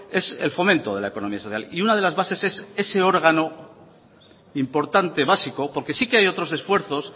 es el fomento de la economía social y una de las bases es ese órgano importante básico porque sí que hay otros esfuerzos